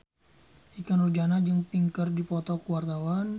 Ikke Nurjanah jeung Pink keur dipoto ku wartawan